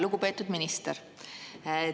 Lugupeetud minister!